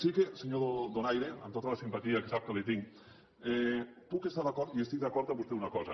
sí que senyor donaire amb tota la simpatia que sap que li tinc puc estar d’acord i estic d’acord amb vostè en una cosa